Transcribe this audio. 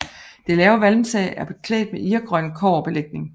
Det lave valmtag er beklædt med irgrøn kobberbelægning